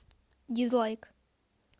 дизлайк